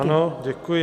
Ano, děkuji.